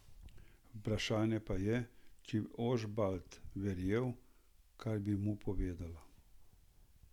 Vprašanje pa je, če bi Ožbalt verjel, kar bi mu povedala.